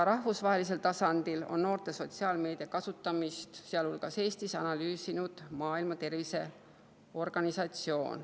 Rahvusvahelisel tasandil on noorte sotsiaalmeedia kasutamist, sealhulgas Eestis, analüüsinud Maailma Terviseorganisatsioon.